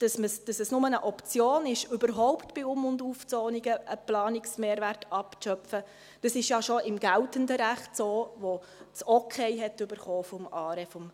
Dass dies nur Option ist, überhaupt bei Um- und Aufzonungen einen Planungsmehrwert abzuschöpfen, ist schon im geltenden Recht so, welches das Okay des ARE bekam.